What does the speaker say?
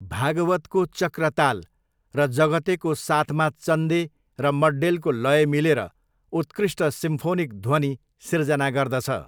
भागवतको चक्रताल र जगतेको साथमा चन्दे र मड्डेलको लय मिलेर उत्कृष्ट सिम्फोनिक ध्वनि सिर्जना गर्दछ।